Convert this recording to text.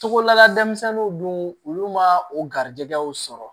Togola denmisɛnninw dun olu ma o garijɛgɛw sɔrɔ